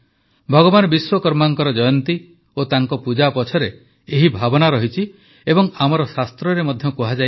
ଭଗବାନ ବିଶ୍ୱକର୍ମାଙ୍କ ଜୟନ୍ତୀ ଓ ତାଙ୍କ ପୂଜା ପଛରେ ଏହି ଭାବ ରହିଛି ଏବଂ ଆମର ଶାସ୍ତ୍ରରେ ଏହା ମଧ୍ୟ କୁହାଯାଇଛି